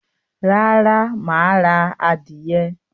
Rárá, máà ra adìyẹ